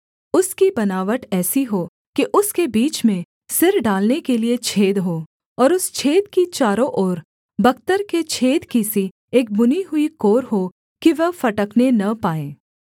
उसकी बनावट ऐसी हो कि उसके बीच में सिर डालने के लिये छेद हो और उस छेद की चारों ओर बख्तर के छेद की सी एक बुनी हुई कोर हो कि वह फटने न पाए